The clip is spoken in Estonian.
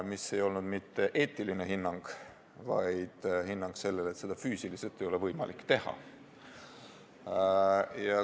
See ei olnud mitte eetiline hinnang, vaid hinnang sellele, et seda ei ole füüsiliselt võimalik teha.